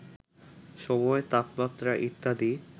সময়, তাপমাত্রা ইত্যাদি